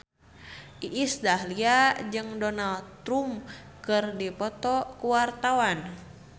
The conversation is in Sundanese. Iis Dahlia jeung Donald Trump keur dipoto ku wartawan